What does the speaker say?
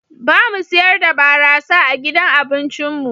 Ba mu siyar da barasa a gidan abincin mu.